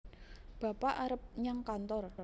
bapak arep nyang kantor